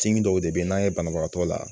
Cin dɔw de bɛ yen n'an ye banabagatɔ la